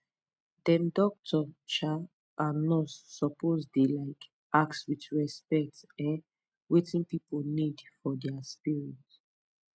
dem doctor um and nurse suppose dey um ask with respect um wetin pipu need for dia spirit